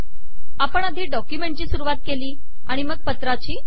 आपण आधी डॉक्युमेंटची सुरुवात केली आणि मग पत्राची